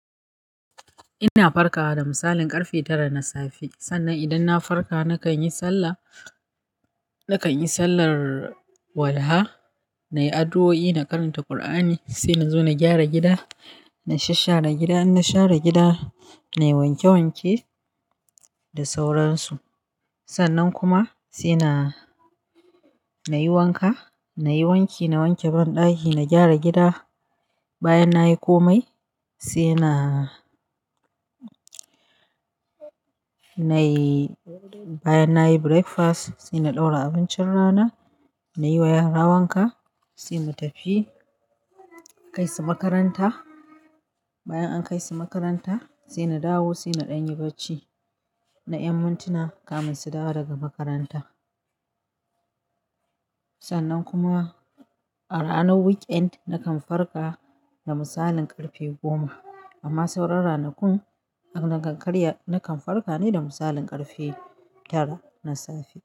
Ina farkawa da misalin ƙarfe tara na safe. Sannan idan na farka nakan yi sallah, nakan yi sallar walha, na yi addu'o'i, na karanta Kur'ani, sai na zo na gyara gida, na sashshare gida. In na share gida, na yi wanke wanke da sauransu. Sannan kuma sai na, na yi wanka, na yi wanki, na wanke banɗaki, na gyara gida. Bayan na yi kome sai na, na yi, bayan na yi breakfast sai na ɗaura abincin rana, na yi wa yara wanka sai mu tafi kai su makaranta. Bayan an kai su makaranta sai na dawo sai na ɗanyi bacci. Na ƴan mintuna kafin su dawo daga makaranta. Sannan kuma a ranar weekend nakan farka da misalin ƙarfe goma. Amma sauran ranakun, nakan farka ne da misalin ƙarfe tara na safe.